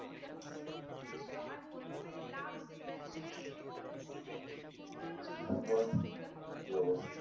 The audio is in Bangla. তারপর কি অবস্থা?